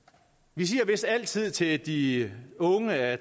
vi siger vist altid til de unge at